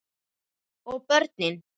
Og börnin?